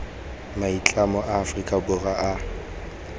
maitlamo a aforika borwa a